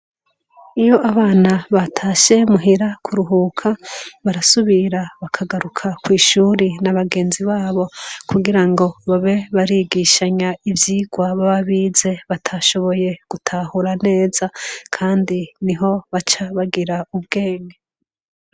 Iyo abana batashe muhira kuruhuka, barasubira bakagaruka kw'ishuri na bagenzi babo kugira ngo babe barigishanya ivyigwa baba bize batashoboye gutahura neza kandi niho baca bagira ubwenge.